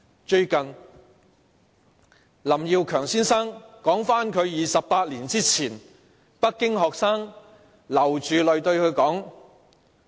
最近，林耀強先生道出28年前北京學生流着淚對他說的話。